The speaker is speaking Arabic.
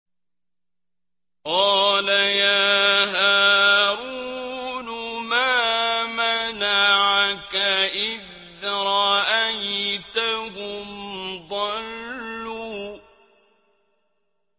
قَالَ يَا هَارُونُ مَا مَنَعَكَ إِذْ رَأَيْتَهُمْ ضَلُّوا